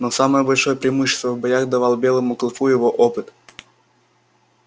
но самое большое преимущество в боях давал белому клыку его опыт